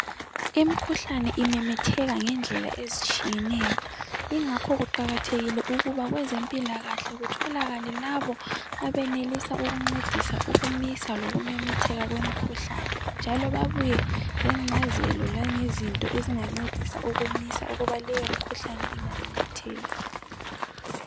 imikhuhlane imemetheka ngendlela ezitshiyeneyo ingakho kuqakathekile ukuba kwezempilakahle kutholakale labo abenelisa ukuncedisa lokumisa ukumemetheka kwemikhuhlane njalo babuye lencazelo lezinto ezingancedisa ukumisa ukuba leyo mikhuhlane ngamemetheki